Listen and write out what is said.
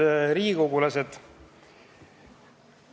Head riigikogulased!